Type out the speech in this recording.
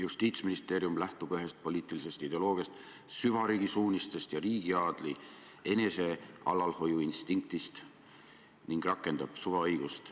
Justiitsministeerium lähtub ühest poliitilisest ideoloogiast – süvariigi suunistest ja riigiaadli enesealalhoiuinstinktist – ning rakendab suvaõigust.